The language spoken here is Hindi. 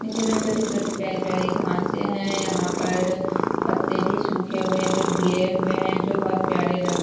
नीचे में छोटे-छोटे प्यारे-प्यारे घासे है यहाँ पर पत्ते भी सूखे हुए है जो गिरे हुए है जो बहुत प्यारे लग --